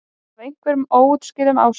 Af einhverjum óútskýranlegum ástæðum.